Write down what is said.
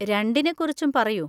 രണ്ടിനെക്കുറിച്ചും പറയൂ.